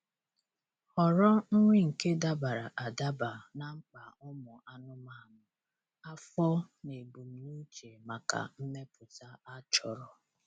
Họrọ nri nke dabara adaba na mkpa ụmụ anụmanụ, afọ na ebumnuche maka mmepụta a chọrọ